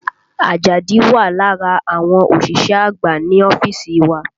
Àjàdí wà lára àwọn òṣìṣẹ́ àgbà ní ọ́fíìsì wa